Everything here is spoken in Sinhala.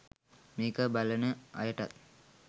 මේක බලන අයටත්